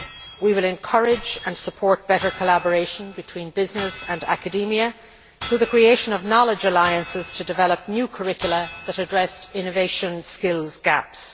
We will encourage and support better collaboration between business and academia through the creation of knowledge alliances to develop new curricula that address innovation skills gaps.